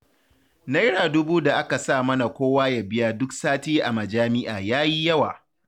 Naira dubu da aka saka mana kowa ya biya duk sati a majami'a ya yi yawa